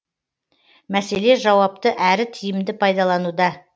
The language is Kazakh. мәселе жауапты әрі тиімді пайдалануда